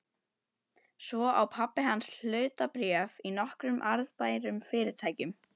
Svo á pabbi hans hlutabréf í nokkrum arðbærum fyrirtækjum.